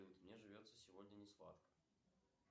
мне живется сегодня не сладко